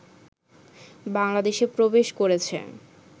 বাংলাদেশে প্রবেশ করেছে